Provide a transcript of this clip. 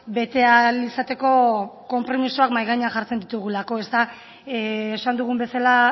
bete ahal izateko konpromisoak mahai gainean jartzen ditugulako esan dugun bezala